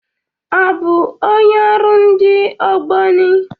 Ọ bụ onye ọrụ ndị Ogboni?